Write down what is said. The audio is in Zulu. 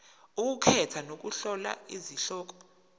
ukukhetha nokuhlola izihloko